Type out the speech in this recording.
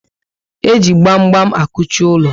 E ji gbam gbam akuchi ulo